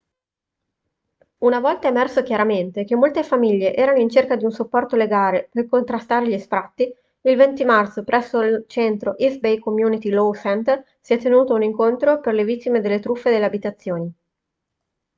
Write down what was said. una volta emerso chiaramente che molte famiglie erano in cerca di un supporto legale per contrastare gli sfratti il 20 marzo presso il centro east bay community law center si è tenuto un incontro per le vittime delle truffe delle abitazioni